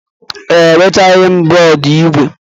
Ee, eweghachila m bọọdụ ígwè.